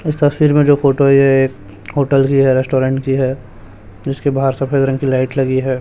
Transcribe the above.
इस तस्वीर में जो फोटो है ये एक होटल की है रेस्टोरेंट की है जिसके बाहर सफेद रंग की लाइट लगी है।